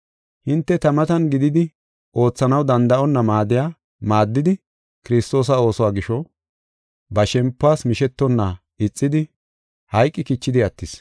Hinte ta matan gididi oothanaw danda7onna maaddiya maaddidi Kiristoosa oosuwa gisho, ba shempuwas mishetonna ixidi hayqi kichidi attis.